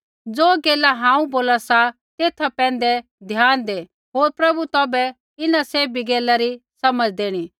ज़ो गैला हांऊँ बोला सा तेथा पैंधै ध्यान दै होर प्रभु तौभै इन्हां सैभी गैला री समझ़ देणी